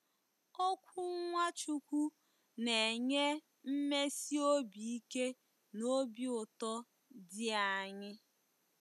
Okwu Nwachukwu na-enye mmesi obi ike na obi ụtọ dị anyị.